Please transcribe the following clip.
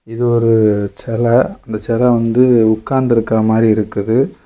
இது ஒரு செல அந்த செல வந்து உக்காந்துருக்குற மாறி இருக்குது.